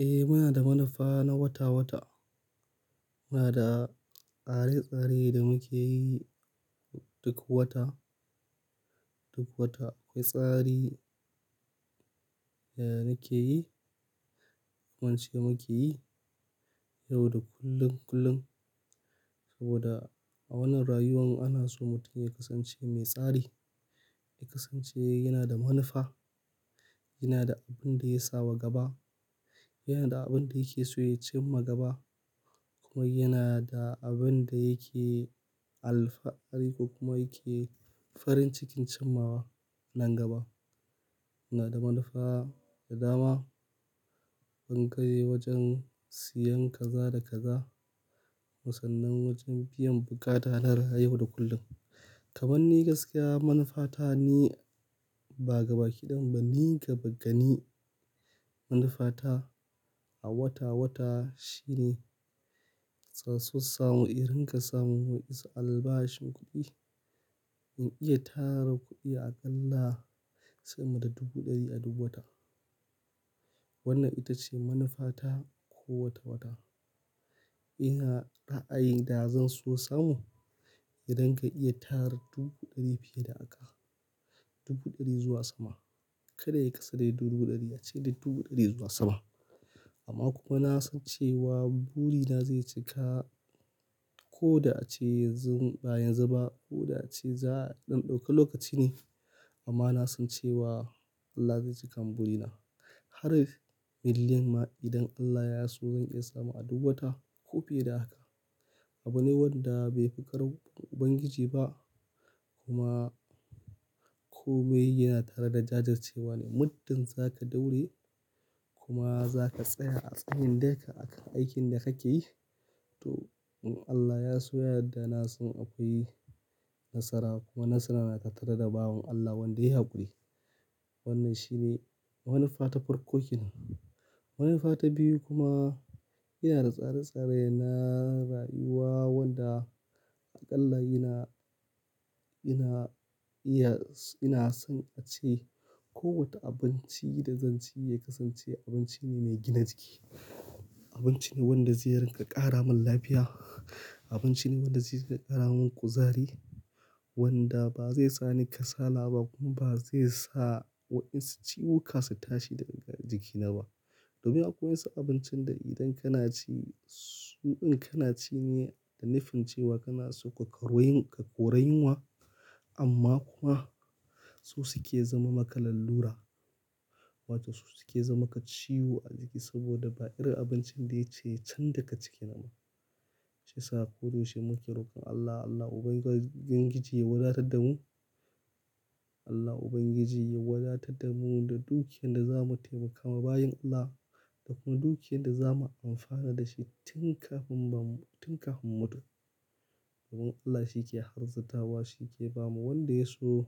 Eh muna da manufa na wata-wata. Muna da tsare-tsare da muke yi duk wata, duk wata akwai tsari da nake yi, wance muke yi yau da kullum kullum. Saboda a wannan rayuwan ana so mutum ya kasance mai tsari, ya kasance yana da manufa, yana da abin da ya sa wa gaba, yana da abin da yake so ya cimma gaba kuma yana da abin da yake alfari ko kuma yake farin cikin cimmawa nan gaba. Muna da manufa da dama, ɓangare wajen siyan kaza da kaza, sannan wajen biyan bukata na rayu yau da kullum. Kaman ni gaskiya manufata ni ba gabaki ɗayanmu ba ni gaba gani. Manufata a wata-wata shine tsaso samu, in ringa samun wa'insu albashin kuɗi in iya tara kuɗi aƙalla sama da dubu ɗari a duk wata. Wannan ita ce manufata ko wata-wata. Ina ra'ayi da zan so samu idan ka iya tara dubu ɗari fiye da haka, dubu ɗari zuwa sama. Kada yayi ƙasa da dubu ɗari ace duk dubu ɗari zuwa sama. Amma kuma na san cewa burina zai cika ko da ace yanzu, ba yanzu ba ko da ace za a ɗan ɗauka lokaci ne. Amma na san cewa Allah zai cika mun burina har million ma idan Allah ya so zan iya samu a duk wata ko fiye da haka. Abune wanda bai fi ƙarfin Ubangiji ba kuma kome yana tare da jajircewa ne. Muddin zaka daure kuma zaka tsaya a tsayin daka akan aikin da kake yi, toh in Allah Ya so ya yadda nasan akwai nasara kuma nasara yana tattare da bawan Allah wanda yayi hakuri. Wannan shi ne manufa ta farko kenan. Manufa ta biyu kuma yana da tsare-tsare na rayuwa wanda aƙalla ina, ina iya, ina son ace ko wata abinci da zan ci ya kasance abinci ne mai gina jiki. Abinci ne wanda zai rinƙa ƙara mun lafiya, abinci ne wanda zai rinƙa ƙara mun kuzari, wanda ba zai sa ni kasala ba kuma ba zai sa waɗansu ciwuka su tashi daga jikina ba. Domin akwai wasu abincin da idan kana ci su in kana ci ne da nufin cewa kana so ka kore, ka kore yunwa amma kuma su suke zama maka lalura wato su suke zama maka ciwo a jiki saboda ba irin abincin da yaci yayi chan daga ciki ba. Shi yasa koyaushe muke roƙon Allah, Allah Ubangiji Ya wadatar da mu, Allah Ubangiji ya wadatar da mu da dukiyar da zamu taimakawa bayin Allah da kuma dukiyar da zamu amfana da shi tun kafin ba mu, tun kafin mu mutu. Domin Allah shi ke azirtawa, shi ke bama wanda ya so